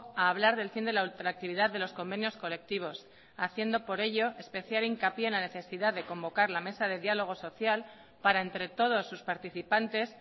a hablar del fin de la ultraactividad de los convenios colectivos haciendo por ello especial hincapié en la necesidad de convocar la mesa de diálogo social para entre todos sus participantes